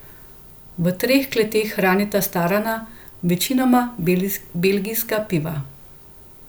V treh kleteh hranita starana večinoma belgijska piva.